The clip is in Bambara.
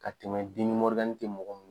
Ka tɛmɛ tɛ mɔgɔ minɛ.